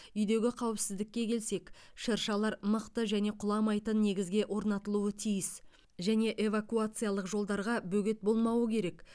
үйдегі қауіпсіздікке келсек шыршалар мықты және құламайтын негізге орнатылуы тиіс және эвакуациялық жолдарға бөгет болмауы керек